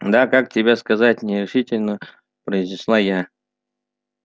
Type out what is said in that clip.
да как тебе сказать нерешительно произнесла я